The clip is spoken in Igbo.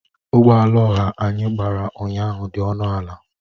Ụgbọ ala ọha anyị gbara ụnyahụ dị ọnụ ala